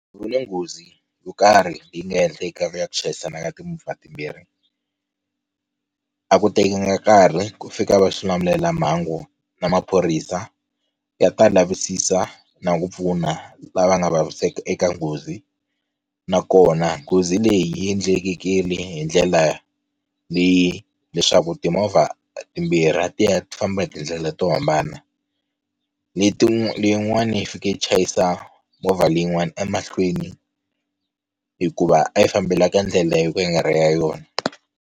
Ku na nghozi yo karhi leyi nga endleka ya ku chayisana ka timovha timbirhi, a ku tekanga nkarhi ku fika va xilamulelamhangu na maphorisa ya ta lavisisa na ku pfuna lava nga vaviseka eka nghozi, nakona nghozi leyi yi endlekile hi ndlela leyi leswaku timovha timbirhi a ti ya ti famba hi tindlela to hambana, leyin'wana yi fike yi chayisa movha leyin'wani emahlweni hikuva a yi fambela ka ndlela yo ka yi nga ri yona.